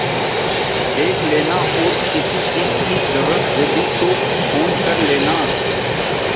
देख लेना और किसी चीज की जरूरत होगी तो फ़ोन कर लेना